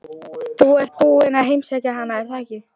Þú ert búinn að heimsækja hana, er það ekki?